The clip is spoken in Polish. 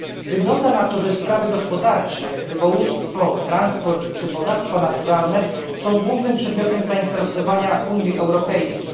Wygląda na to, że sprawy gospodarcze jak rybołówstwo, transport czy bogactwa naturalne są głównym przedmiotem zainteresowania Unii Europejskiej.